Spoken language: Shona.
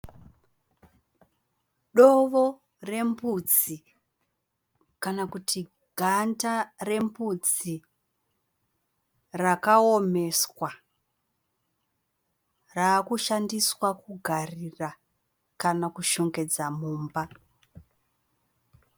Dovo rembudzi kana kuti ganda rembudzi rakaomeswa raakushandiswa kugarira kana kushongedza mumba.